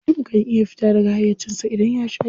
Mutum kan iya fita daga hayyacinsa idan ya sha giya.